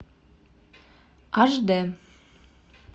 аш д